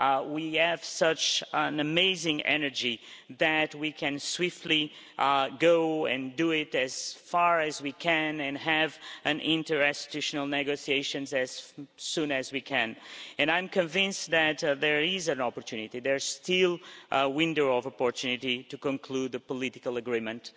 We have such an amazing energy that we can swiftly go and do it as far as we can and have an interinstitutional negotiation as soon as we can, and I'm convinced that there is still a window of opportunity to conclude the political agreement.